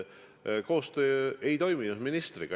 Koostöö ministriga ei toiminud.